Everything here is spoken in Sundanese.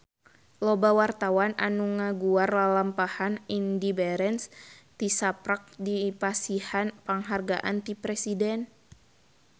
Loba wartawan anu ngaguar lalampahan Indy Barens tisaprak dipasihan panghargaan ti Presiden